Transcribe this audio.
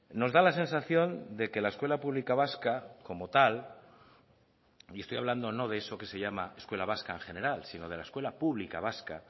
nos da la sensación de que la escuela pública vasca como tal y estoy hablando no de eso que se llama escuela vasca en general sino de la escuela pública vasca